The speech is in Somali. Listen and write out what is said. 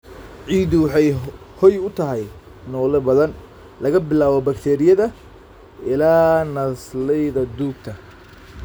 Ciiddu waxay hoy u tahay noole badan, laga bilaabo bakteeriyada ilaa naasleyda duugta.